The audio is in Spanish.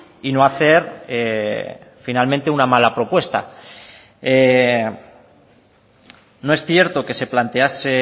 y no hacer finalmente una mala propuesta no es cierto que se plantease